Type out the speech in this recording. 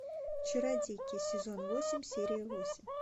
чародейки сезон восемь серия восемь